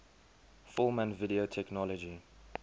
film and video technology